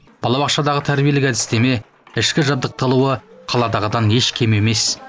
балабақшадағы тәрбиелік әдістеме ішкі жабдықталуы қаладағыдан еш кем емес